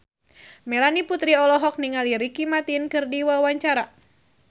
Melanie Putri olohok ningali Ricky Martin keur diwawancara